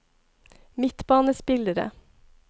midtbanespillere